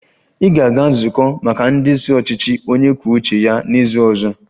Ị ga-aga nzukọ maka ndị isi ọchịchị onye kwuo uche ya n'izu ọzọ!